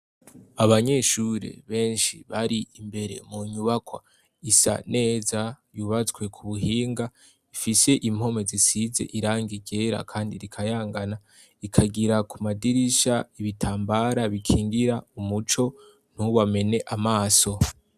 Abanyeshure benshi bari imbere mu nyubakwa isa neza, yubatswe ku buhinga, ifise impome zisize irangi ryera kandi rikayangana, ikagira ku madirisha ibitambara bikingira umuco, ntubamene amaso.